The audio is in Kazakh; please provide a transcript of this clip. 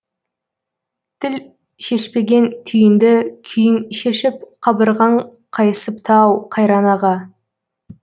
тіл шешпеген түйінді күйің шешіп қабырғаң қайысыпты ау қайран аға